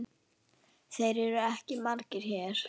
Þeir eru ekki margir hér.